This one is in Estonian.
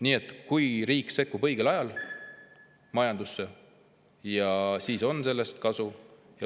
Nii et kui riik sekkub õigel ajal majandusse, siis on sellest kasu.